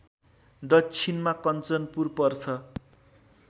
दक्षिणमा कन्चनपुर पर्छ